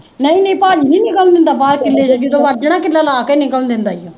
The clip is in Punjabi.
ਨਹੀ ਨਹੀਂ ਬੰਦਾ ਕਿੱਲੇ ਚ ਜਦੋਂ ਵੜਜੇ ਨਾ ਕਿੱਲਾ ਲਾ ਕੇ ਈ ਨਿਕਲਣ ਦਿੰਦਾ